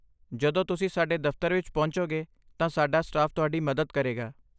ਜਦੋਂ ਤੁਸੀਂ ਸਾਡੇ ਦਫ਼ਤਰ ਵਿੱਚ ਪਹੁੰਚੋਂਗੇ ਤਾਂ ਸਾਡਾ ਸਟਾਫ ਤੁਹਾਡੀ ਮਦਦ ਕਰੇਗਾ।